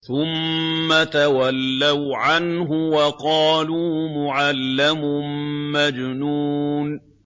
ثُمَّ تَوَلَّوْا عَنْهُ وَقَالُوا مُعَلَّمٌ مَّجْنُونٌ